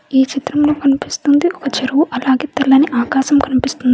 ఈ చిత్రంలో కనిపిస్తుంది ఒక చెరువు అలాగే తెల్లని ఆకాశం కనిపిస్తుంది.